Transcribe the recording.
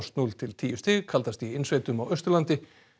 núll til tíu stig kaldast í innsveitum á Austurlandi